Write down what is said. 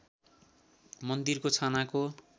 मन्दिरको छानाको